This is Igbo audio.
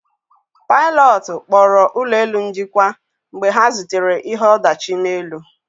Pilotu kpọrọ ụlọ elu njikwa mgbe ha zutere ihe ọdachi n'elu